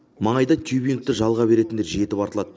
маңайда тюбингті жалға беретіндер жетіп артылады